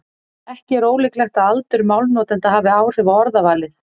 Ekki er ólíklegt að aldur málnotenda hafi áhrif á orðavalið.